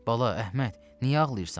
Bala Əhməd, niyə ağlayırsan?